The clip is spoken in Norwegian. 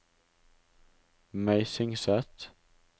Meisingset